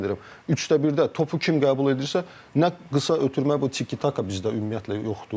Çünki yenə deyirəm, üçdə birdə topu kim qəbul edirsə, nə qısa ötürmə, bu tikitaka bizdə ümumiyyətlə yoxdur.